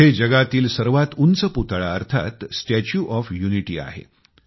तेथे जगातील सर्वात उंच पुतळा अर्थात स्टॅच्यू ऑफ युनिटी आहे